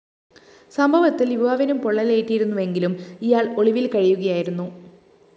സംഭവത്തില്‍ യുവാവിനും പൊള്ളലേറ്റിരുന്നുവെങ്കിലും ഇയാള്‍ ഒളിവില്‍ കഴിയുകയായിരുന്നു